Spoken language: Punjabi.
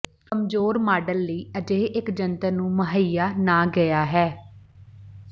ਕਮਜ਼ੋਰ ਮਾਡਲ ਲਈ ਅਜਿਹੇ ਇੱਕ ਜੰਤਰ ਨੂੰ ਮੁਹੱਈਆ ਨਾ ਗਿਆ ਹੈ